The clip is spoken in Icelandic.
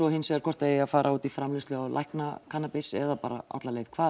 hins vegar hvort það eigi að fara út í framleiðslu á læknakannabis eða bara alla leið